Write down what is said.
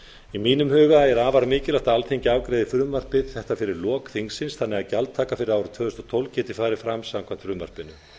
í mínum huga er afar mikilvægt að alþingi afgreiði frumvarp þetta fyrir lok þingsins þannig að gjaldtaka fyrir árið tvö þúsund og tólf geti farið fram samkvæmt frumvarpinu